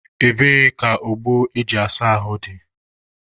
Ebee ka ogbo eji asa ahụ dị?